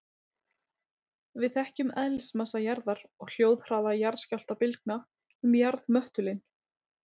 Við þekkjum eðlismassa jarðar og hljóðhraða jarðskjálftabylgna um jarðmöttulinn.